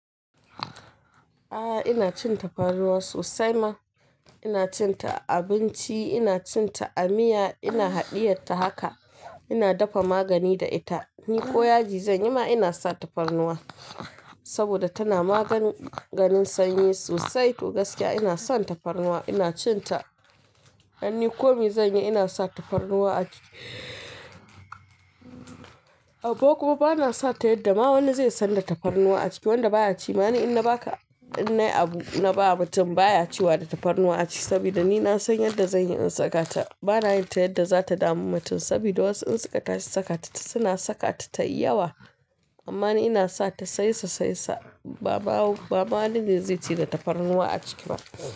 A'a ina cin tafarnuwa sosai ma. Ina cin ta a abinci, ina cin ta a miya, ina haɗiye ta haka, ina dafa magani da ita. Ni ƙo yaji zan yi ma ina sa tafarnuwa saboda tana maganin sanyi sosai to gaskiya ina son tafarnuwa, ina cin ta. Dan ni komai zan yi ina sa tafarnuwa a ciki. Amma kuma ba na sa ta yadda ma wani zai san da tafarnuwa a ciki. Wanda baya ci ma ni in na ba ka in na yi abu na ba mutum baya cewa da tafarnuwa a ciki saboda ni na san yadda zan yi in saka ta. Ba na yinta yadda za ta damu mutum saboda wasu in suka tashi saka ta suna saka ta ta yi yawa. Amma ni ina sa ta saisasaisa. Ba ma, ba ma wani ne zai ce da tafarnuwa a ciki ba.